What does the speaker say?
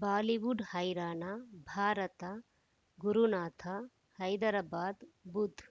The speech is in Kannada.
ಬಾಲಿವುಡ್ ಹೈರಾಣ ಭಾರತ ಗುರುನಾಥ ಹೈದರಾಬಾದ್ ಬುಧ್